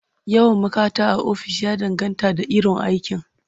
Yawan ma'kata a ofis ya danganta da iron aiki..